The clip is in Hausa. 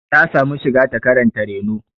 Ta samu shiga ta karanta reno.